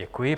Děkuji.